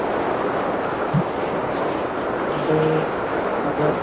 ਜਰੁਰ and ਅਗਰ